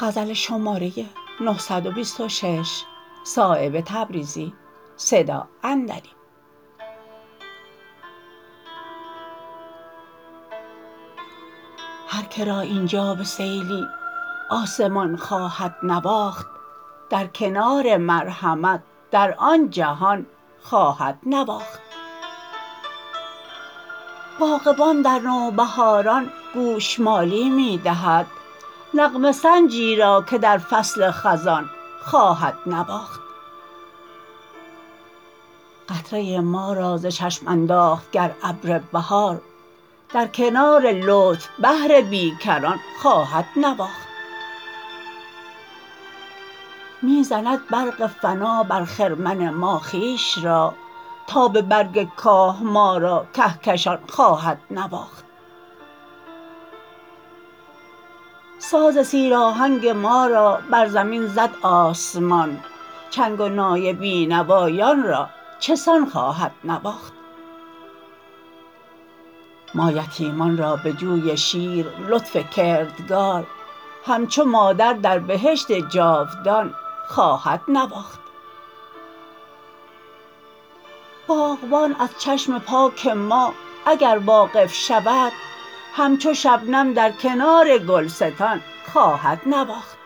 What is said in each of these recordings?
هر که را اینجا به سیلی آسمان خواهد نواخت در کنار مرحمت در آن جهان خواهد نواخت باغبان در نوبهاران گوشمالی می دهد نغمه سنجی را که در فصل خزان خواهد نواخت قطره ما را ز چشم انداخت گر ابر بهار در کنار لطف بحر بیکران خواهد نواخت می زند برق فنا بر خرمن ما خویش را تابه برگ کاه ما را کهکشان خواهد نواخت ساز سیر آهنگ ما را بر زمین زد آسمان چنگ و نای بینوایان را چسان خواهد نواخت ما یتیمان را به جوی شیر لطف کردگار همچو مادر در بهشت جاودان خواهد نواخت باغبان از چشم پاک ما اگر واقف شود همچو شبنم در کنار گلستان خواهد نواخت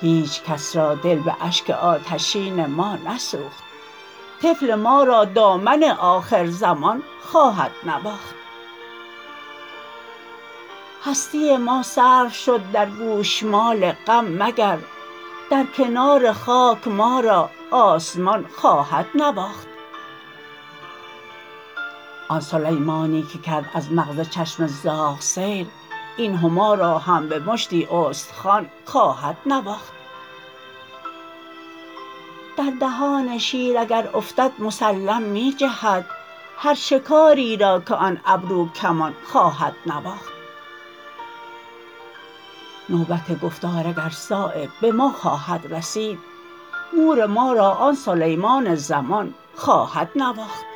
هیچ کس را دل به اشک آتشین ما نسوخت طفل ما را دامن آخر زمان خواهد نواخت هستی ما صرف شد در گوشمال غم مگر در کنار خاک ما را آسمان خواهد نواخت آن سلیمانی که کرد از مغز چشم زاغ سیر این هما را هم به مشتی استخوان خواهد نواخت در دهان شیر اگر افتد مسلم می جهد هر شکاری را که آن ابرو کمان خواهد نواخت نوبت گفتار اگر صایب به ما خواهد رسید مور ما را آن سلیمان زمان خواهد نواخت